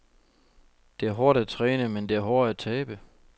Det er hårdt at træne, men det er hårdere at tabe.